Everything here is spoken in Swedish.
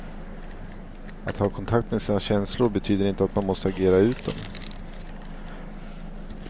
Att ha kontakt med sina känslor betyder inte att man måste agera ut dem.